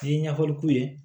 N'i ye ɲɛfɔli k'u ye